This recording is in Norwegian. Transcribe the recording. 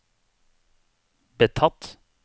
betatt